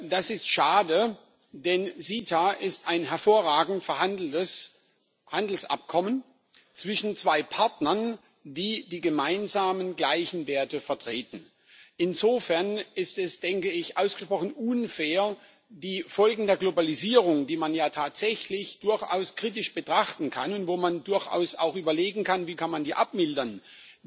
Das ist schade, denn CETA ist ein hervorragend verhandeltes Handelsabkommen zwischen zwei Partnern, die die gemeinsamen gleichen Werte vertreten. Insofern ist es ausgesprochen unfair, die Folgen der Globalisierung, die man ja tatsächlich durchaus kritisch betrachten kann und wo man durchaus auch überlegen kann, wie man die abmildern kann,